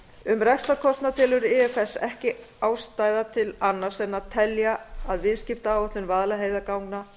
um rekstrarkostnað telur ifs ekki ástæðu til annars en að telja að viðskiptaáætlun vaðlaheiðarganga